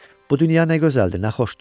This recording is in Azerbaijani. Bu dünya nə gözəldir, nə xoşdur.